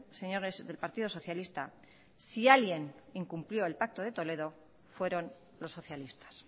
señores del partido socialista si alguien incumplió el pacto de toledo fueron los socialistas